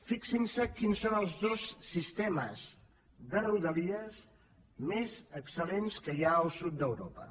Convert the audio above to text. fixin se quins són els dos sistemes de rodalies més excel·lents que hi ha al sud d’europa